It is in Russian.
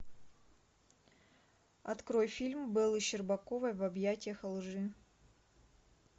открой фильм беллы щербаковой в объятьях лжи